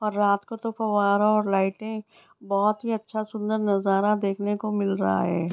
और रात को तो फवारों और लाइटें बहुत ही अच्छा सुंदर नजारा देखने को मिल रहा है।